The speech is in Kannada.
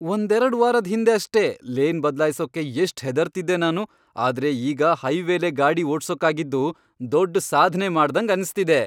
ಒಂದೆರಡ್ ವಾರದ್ ಹಿಂದೆ ಅಷ್ಟೇ, ಲೇನ್ ಬದ್ಲಾಯ್ಸೋಕೆ ಎಷ್ಟ್ ಹೆದರ್ತಿದ್ದೆ ನಾನು, ಆದ್ರೆ ಈಗ ಹೈವೇಲೇ ಗಾಡಿ ಓಡ್ಸೋಕಾಗಿದ್ದು ದೊಡ್ಡ್ ಸಾಧ್ನೆ ಮಾಡ್ದಂಗ್ ಅನ್ಸ್ತಿದೆ.